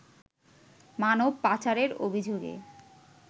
মানব পাচারের অভিযোগে